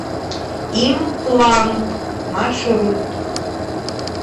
имплант маршрут